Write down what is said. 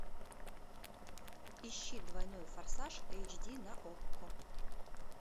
ищи двойной форсаж эйч ди на окко